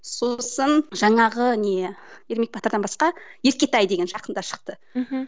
сосын жаңағы не ермек батырдан басқа еркетай деген жақында шықты мхм